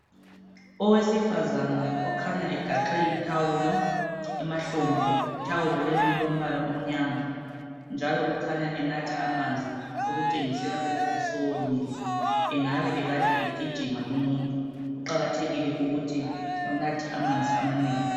Owesifazana okhanya egaxe ithawulo emhlombe ithawula leli lilombala omnyama njalo ukukhanya enatha amanzi okotshengisela ukuthi sewomile engabe ekade egijima lumuntu kuqakathekile ukuthi unathe amanzi amanengi